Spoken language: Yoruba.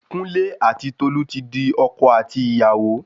Kúnlé ati Tolu ti di ọkọ àti ìyàwó